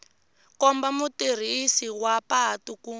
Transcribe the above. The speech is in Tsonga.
komba mutirhisi wa patu ku